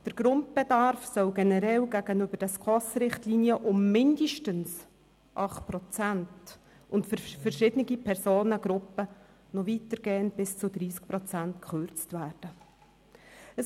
Der Grundbedarf soll gegenüber den SKOS-Richtlinien generell um mindestens 8 Prozent und für verschiedene Personengruppen noch weitergehend um bis zu 30 Prozent gekürzt werden.